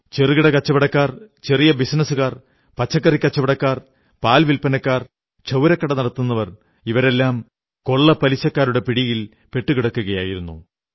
ചെറുകിട കച്ചവടക്കാർ ചെറിയ ബിസിനസ്സുകാർ പച്ചക്കറി കച്ചവടക്കാർ പാൽ വില്പനക്കാർ ക്ഷൌരക്കട നടത്തുന്നവർ തുടങ്ങിയവരൊക്കെ കൊള്ളപ്പലിശക്കാരുടെ പിടിയിൽ പെട്ടുകിടക്കുകയായിരുന്നു